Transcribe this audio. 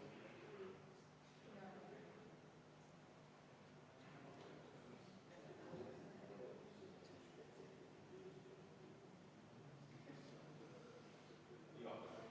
poolt, juhtivkomisjon on jätnud arvestamata.